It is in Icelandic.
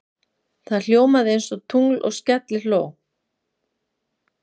Það ljómaði einsog tungl og skellihló.